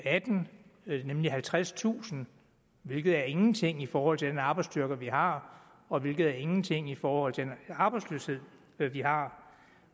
atten nemlig med halvtredstusind hvilket er ingenting i forhold til den arbejdsstyrke vi har og hvilket er ingenting i forhold til den arbejdsløshed vi vi har